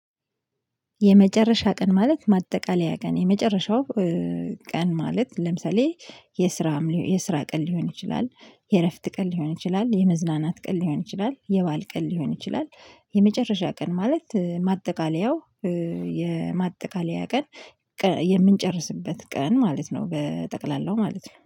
የመጨረሻ ቀን ማለት ማጠቃለያ ቀን የመጨረሻው። ቀን ማለት ለምሳሌ የስራም የስራ ቀን ሊሆን ይችላል። የእረፍት ቀን ሊሆን ይችላል የመዝናናት ቀን ሊሆን ይችላል የባዓል ቀን ሊሆን ይችላል። የመጨረሻ ቀን ማለት ማጠቃለያው የማጠቃለያ ቀን። የምንጨርስበት ቀን ማለት ነው በጠቅላላው ማለት ነው